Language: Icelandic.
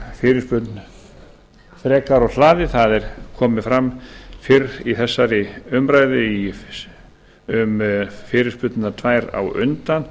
fyrirspurn frekar úr hlaði það hefur komið fram fyrr í þessari umræðu um fyrirspurnirnar tvær á undan